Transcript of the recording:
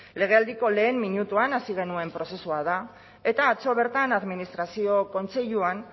legealdiko lehen minutuan hasi genuen prozesua da eta atzo bertan administrazio kontseiluan